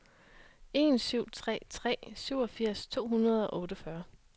en syv tre tre syvogfirs to hundrede og otteogfyrre